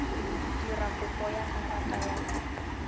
dira kopo ya karata ya